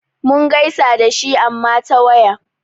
Mun gaisa da shi amma ta waya.